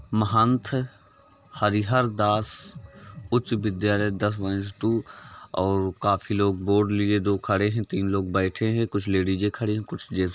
महत्ता हरिहरदास उच्च विद्यालय दस टू और काफी लोग बोर्ड लिए दो खड़े हैं। तीन लोग बैठे हैं। कुछ लेडीजे खड़ी हैं। कुछ जेंट्स --